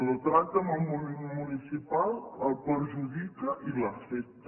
el tracte amb el món municipal el perjudica i l’afecta